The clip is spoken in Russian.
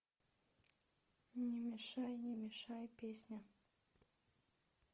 не мешай не мешай песня